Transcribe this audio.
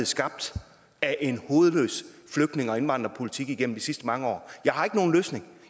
skabt af en hovedløs flygtninge og indvandrerpolitik igennem de sidste mange år jeg har ikke nogen løsning